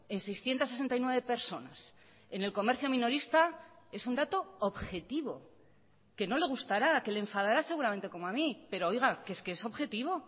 en seiscientos sesenta y nueve personas en el comercio minorista es un dato objetivo que no le gustará que le enfadará seguramente como a mí pero oiga que es que es objetivo